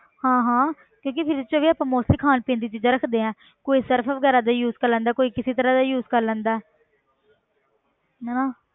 ਹਾਂ ਹਾਂ ਕਿਉਂਕਿ fridge 'ਚ ਵੀ ਆਪਾਂ mostly ਖਾਣ ਪੀਣ ਦੀਆਂ ਚੀਜ਼ਾਂ ਰੱਖਦੇ ਹਾਂ ਕੋਈ ਸਰਫ਼ ਵਗ਼ੈਰਾ ਦਾ use ਕਰ ਲੈਂਦਾ ਕੋਈ ਕਿਸੇ ਤਰ੍ਹਾਂ ਦਾ use ਕਰ ਲੈਂਦਾ ਹੈ ਹਨਾ